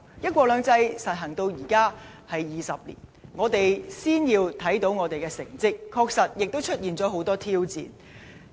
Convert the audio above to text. "一國兩制"實行至今已20年，我們先要看看我們的成績，但亦承認當中確實有了很多挑戰。